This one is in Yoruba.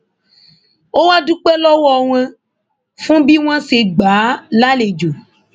ó wàá dúpẹ lọwọ wọn fún bí wọn ṣe gbà á lálejò